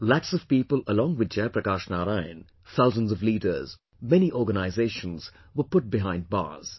Lakhs of people along with Jai Prakash Narain, thousands of leaders, many organisations were put behind bars